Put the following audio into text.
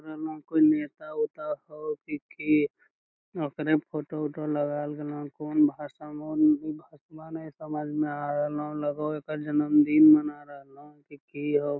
यहां कोई नेता वेता होअ की की ओकरे फोटो उटो लगाएल गेले होअ कौन भाषा में होअ उ भाषवा ने समझ में आ रहलो लगे होअ एकर जन्मदिन मना रहलो की की हो।